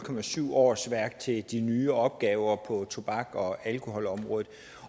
årsværk til de nye opgaver på tobaks og alkoholområdet